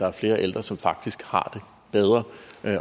er flere ældre som faktisk har det bedre